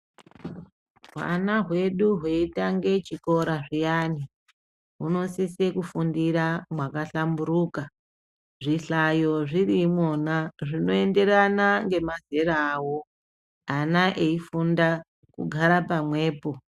Hwana hwedu hweitange chikora zviyani hunosise kufuñdira mwakahlamburuka zvihlayo zviri imwona zvinoenderana ngemazera awo ana eifundà kugara pamwepo.